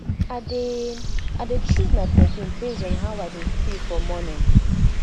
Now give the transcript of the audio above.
i dey i dey choose my perfume based on how i dey feel for morning